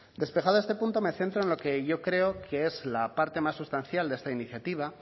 despejado este punto me centro en lo que yo creo que es la parte más sustancial de esta iniciativa